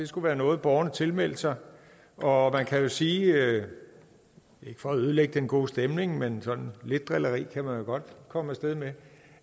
skulle være noget borgerne tilmeldte sig og kan jo sige ikke for at ødelægge den gode stemning men sådan lidt drilleri kan man jo godt komme af sted med